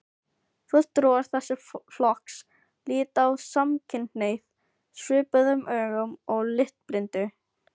Fulltrúar þessa flokks líta á samkynhneigð svipuðum augum og litblindu.